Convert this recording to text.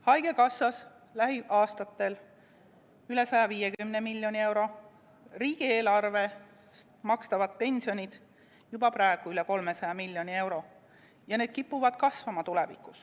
Haigekassas lähiaastatel üle 150 miljoni euro, riigieelarvest makstavad pensionid juba praegu üle 300 miljoni euro, ja need kipuvad kasvama tulevikus.